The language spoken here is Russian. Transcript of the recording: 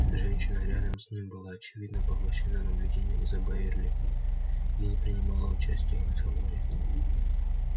женщина рядом с ним была очевидно поглощена наблюдением за байерли и не принимала участия в разговоре